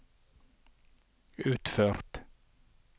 utført